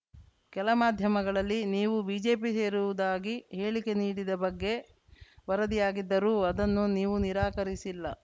ಕೆಲ ಮಾಧ್ಯಮಗಳಲ್ಲಿ ನೀವು ಬಿಜೆಪಿ ಸೇರುವುದಾಗಿ ಹೇಳಿಕೆ ನೀಡಿದ ಬಗ್ಗೆ ವರದಿಯಾಗಿದ್ದರೂ ಅದನ್ನು ನೀವು ನಿರಾಕರಿಸಿಲ್ಲ